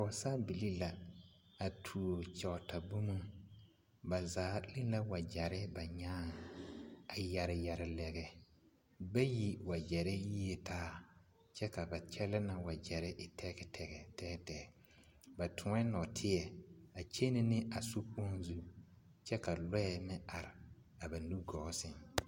Pɔgesabilii la a tuo kyɔɔta boma ba zaa leŋ la wagyare ba nyaa a yare yare lɛrɛ bayi wagyare yi la taa kyɛ ka ba kyɛllɛna wagyare e tɛɛtɛɛ ba toŋ la nɔɔteɛ a kyɛnɛ ne a sokyoŋ zu kyɛ ka lɔɛ meŋ are ba nugɔɔ sɛŋ.